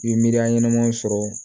I ye miiriya ɲɛnamaw sɔrɔ